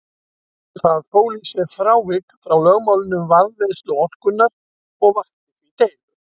Það fól í sér frávik frá lögmálinu um varðveislu orkunnar og vakti því deilur.